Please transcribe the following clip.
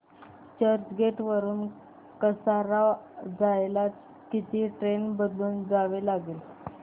चर्चगेट वरून कसारा जायला किती ट्रेन बदलून जावे लागेल